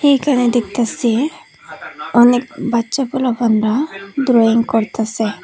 এখানে দেখতাছি অনেক বাচ্চা পোলাপানরা ড্রয়িং করতাসে।